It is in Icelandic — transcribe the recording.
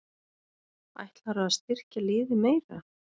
Ætlarðu að styrkja liðið meira?